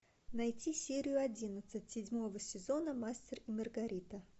найти серию одиннадцать седьмого сезона мастер и маргарита